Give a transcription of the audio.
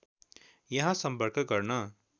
यहाँ सम्पर्क गर्न